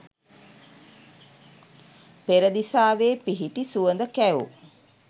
පෙරදිසාවේ පිහිටි සුවඳ කැවූ